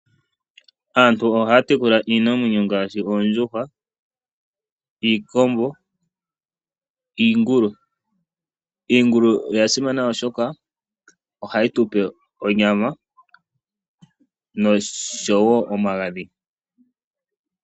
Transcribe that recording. Aantu ohaya tekula iinamwneyo ngaashi oondjuhwa, iikombo niingulu. Iingulu oya simana oshoka ohayi tu pe onyama noshowo omagadhi.